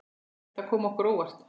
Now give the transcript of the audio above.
Þetta kom okkur á óvart.